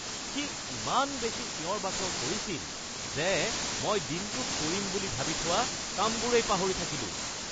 সি ইমান বেছি চিঞৰ-বাখৰ কৰিছিল যে মই দিনটোত কৰিম বুলি ভাবি থোৱা কামবোৰেই পাহৰি থাকিলোঁ